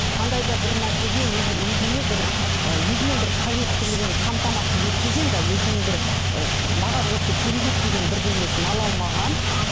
қандай да бір нәрсеге өз өзіне бір і өзінің бір қажеттілігін қамтамасыз етпеген де өзінің бір ы маған осы керек еді деген бірдеңесін ала алмаған